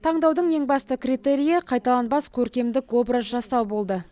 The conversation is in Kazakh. таңдаудың ең басты критерийі қайталанбас көркемдік образ жасау болды